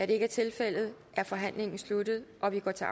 det ikke er tilfældet er forhandlingen sluttet og vi går til